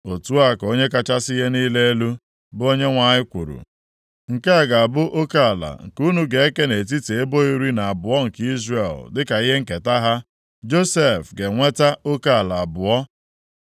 Otu a ka Onye kachasị ihe niile elu, bụ Onyenwe anyị kwuru, “Nke a ga-abụ oke ala nke unu ga-eke nʼetiti ebo iri na abụọ nke Izrel dịka ihe nketa ha, Josef ga-enweta oke ala abụọ.